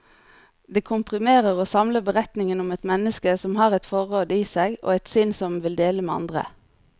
Det komprimerer og samler beretningen om et menneske som har et forråd i seg, og et sinn som vil dele med andre.